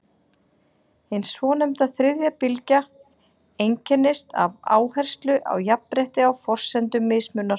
hin svonefnda „þriðja bylgja“ einkennist af áherslu á jafnrétti á forsendum mismunar